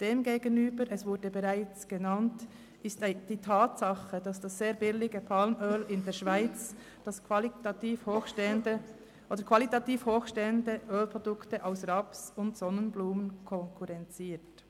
Demgegenüber – das wurde bereits gesagt – steht die Tatsache, dass das sehr billige Palmöl in der Schweiz qualitativ hochstehende Produkte aus Raps- und Sonnenblumenöl konkurrenziert.